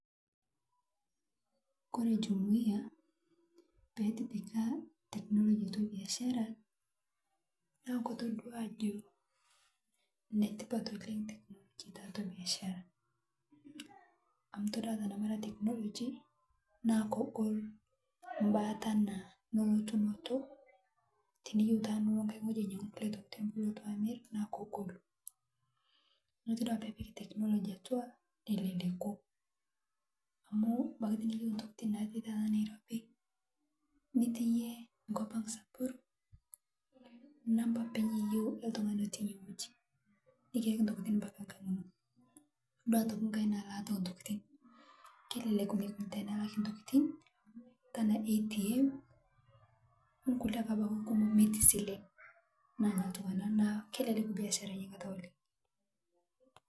Kore jumuiya peetipika technology atua biashara naa kotodua ajoo Netipat oleng teknology taatua biashara amu itodua tanamara technology naa kogol mbaa tanaa elotunoto tiniyeu taa Nilo nghai nghoji ainyeguu ntokitin nilotu amir naa kogoluu naa iyoloo taa tinipik teknolgy atua nelelekuu amu tiniyeu abaki taata ntokitin natii Nairobi nitii yie nkopang samburu nampaa apeny iyeu eltungani otii inie nghoji nikiyakii ntokitin mpaka nkang inoo itodua otokii nghai naa laata entokitin kelelek oleng tenelakii ntokitin tanaa ATM onkulie abaki kumoo metii silen anaa notuu ana naaku kelelek biashara inia kata oleng